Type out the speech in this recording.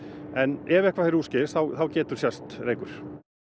en ef eitthvað fer úrskeiðis þá getur sést reykur